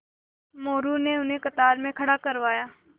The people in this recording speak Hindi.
मोरू ने उन्हें कतार में खड़ा करवाया